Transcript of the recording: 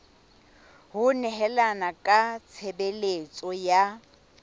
ho nehelana ka tshebeletso ya